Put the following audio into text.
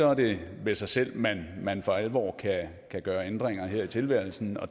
er det med sig selv at man for alvor kan gøre ændringer her i tilværelsen